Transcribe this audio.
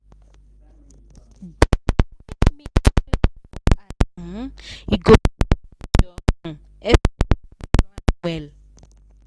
di way mint clear for eye um you go fit manage your um expense and plan well.